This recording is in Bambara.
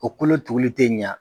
O kolo tuguli te ɲa